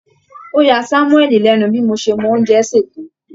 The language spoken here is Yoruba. Ó ya Sámúẹ́lì lẹ́nu bí mo ṣe mọ oúnjẹ sè tó